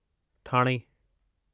Thane